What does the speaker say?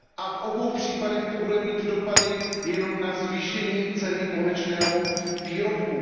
V obou případech to bude mít dopady jenom na zvýšení ceny konečného výrobku.